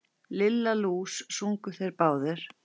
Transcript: Lilla lús! sungu þeir báðir.